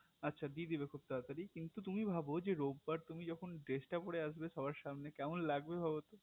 আচ্ছা দিয়ে দেবে খুব তাড়াতাড়ি কিন্ত তুমি ভাবো রোববার তুমি যখন dress টা পরে আসবে সবার সামনে কেমন লাগবে ভাবতো